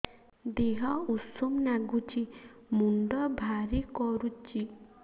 ଦିହ ଉଷୁମ ନାଗୁଚି ମୁଣ୍ଡ ଭାରି କରୁଚି